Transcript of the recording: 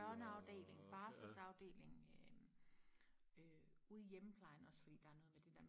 børneafdeling barselsafdeling øh og øh ude i hjemmeplejen også fordi der er noget med det der